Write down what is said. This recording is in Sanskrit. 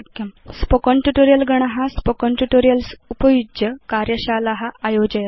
स्पोकेन ट्यूटोरियल् गण स्पोकेन ट्यूटोरियल्स् उपयुज्य कार्यशाला आयोजयति